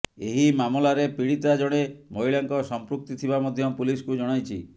ଏହି ମାମଲାରେ ପୀଡିତା ଜଣେ ମହିଳାଙ୍କ ସମ୍ପୃକ୍ତି ଥିବା ମଧ୍ୟ ପୁଲିସକୁ ଜଣାଇଛି